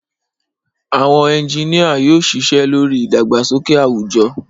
Àwọn ẹ́ńjìnìa yóò ṣiṣẹ́ lórí ìdàgbàsókè àwùjọ